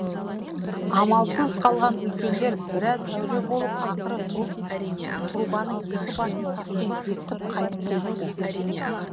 амалсыз қалған үлкендер біраз әуре болып ақыры трубаның екі басын таспен бекітіп қайтып келіпті